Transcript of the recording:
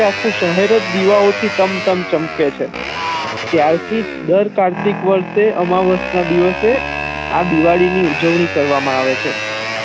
આખું શહેર જ દીવાઓ થી તમ તમ ચમકે છે હમ ત્યારથી જ દર કાર્તિક વર્ષે દિવાળી ની ઉજવણી કર વ મા આવે છે